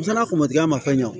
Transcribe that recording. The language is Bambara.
N'ala ko matigiya ma fɛn